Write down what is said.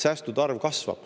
Säästude arv kasvab.